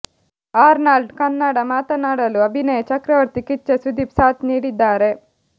Arnold Kannada ಮಾತನಾಡಲು ಅಭಿನಯ ಚಕ್ರವರ್ತಿ ಕಿಚ್ಚ ಸುದೀಪ್ ಸಾಥ್ ನೀಡಿದ್ದಾರೆ